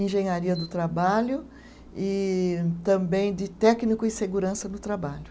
engenharia do trabalho e também de técnico em segurança do trabalho.